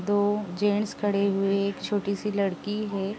दो जेंट्स खड़े हुए एक छोटी-सी लड़की है।